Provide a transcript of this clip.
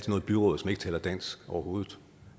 noget byråd som ikke taler dansk overhovedet